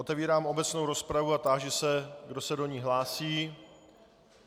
Otevírám obecnou rozpravu a táži se, kdo se do ní hlásí.